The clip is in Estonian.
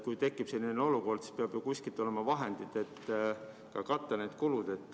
Kui tekib selline olukord, siis peavad ju kuskil olema vahendid, et katta need kulud.